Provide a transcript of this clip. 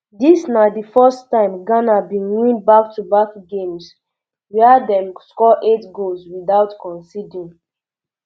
dis na di first time ghana um bin win backtoback games um wia dem score eight goals without conceding